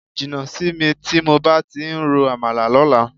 Jìnnà sí mi tí mo bá ti ń rọ àmàlà lọ́la.